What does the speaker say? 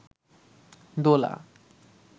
দোলা